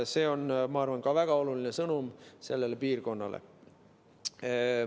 See on, ma arvan, ka väga oluline sõnum sellele piirkonnale.